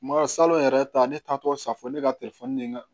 Ma salo yɛrɛ ta ne taa tɔ sa fɔ ne ka telefɔni de ka